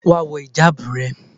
Wá wọ ìjábù rẹ.!